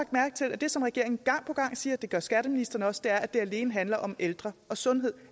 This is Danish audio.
mærke til at det som regeringen gang på gang siger og det gør skatteministeren også er at det alene handler om ældre og sundhed